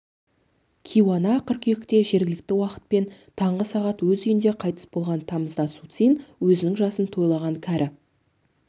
кейуана қыркүйекте жергілікті уақытпен таңғы сағат өз үйінде қайтыс болған тамызда суцин өзінің жасын тойлаған кәрі